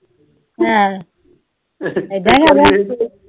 ਹੈਂ। ਬੈਜਾ ਬੈਜਾ।